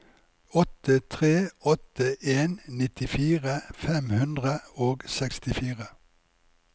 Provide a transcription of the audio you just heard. åtte tre åtte en nittifire fem hundre og sekstifire